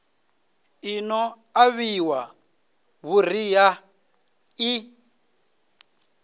i no ṱavhiwa vhuriha i